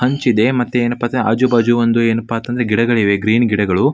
ಹಂಚಿದೆ ಮತ್ತೆ ಏನಪಾ ಅಂತಂದ್ರೆ ಆಜು ಬಾಜು ಏನಪ್ಪಾ ಅಂತಂದ್ರೆ ಗಿಡಗಳು ಇವೆ ಗ್ರೀನ್ ಗಿಡಗಳು.